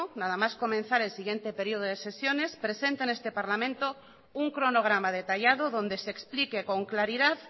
nada más comenzar el siguiente periodo de sesiones presente en este parlamento un cronograma detallado donde se explique con claridad